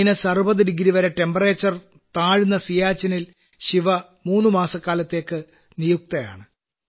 minus 60 degree 60വരെ താപനില താഴുന്ന സിയാച്ചിനിൽ ശിവ മൂന്നു മാസക്കാലത്തേയ്ക്ക് നിയുക്തയാണ്